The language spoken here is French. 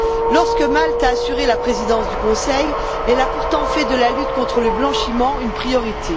Lorsque Malte a assuré la présidence du Conseil, elle a pourtant fait de la lutte contre le blanchiment une priorité.